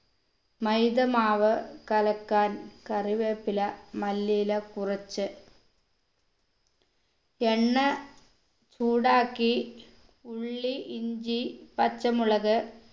മൈദ മാവ് കലക്കാൻ കറിവേപ്പില മല്ലിയില കുറച്ച് എണ്ണ ചൂടാക്കി ഉള്ളി ഇഞ്ചി പച്ചമുളക്